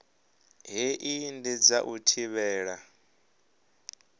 hei ndi dza u thivhela